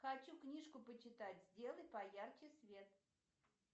хочу книжку почитать сделай поярче свет